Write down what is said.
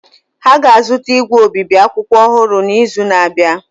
Ha ga-azụta igwe obibi akwụkwọ ọhụrụ n’izu na-abịa.